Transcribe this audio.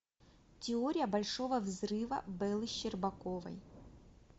теория большого взрыва беллы щербаковой